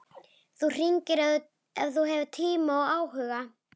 Þú hringir ef þú hefur tíma og áhuga.